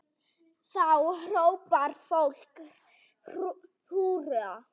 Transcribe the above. Þá hrópar fólk húrra.